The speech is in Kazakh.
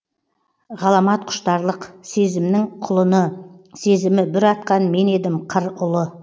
ғаламат құштарлық сезімнің құлыны сезімі бүр атқан мен едім қыр ұлы